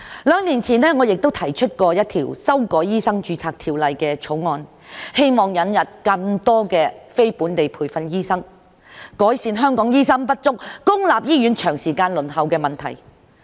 兩年前，我亦曾提出一項修改《醫生註冊條例》的條例草案，希望引入更多非本地培訓醫生，改善香港醫生不足、公立醫院輪候時間長的問題。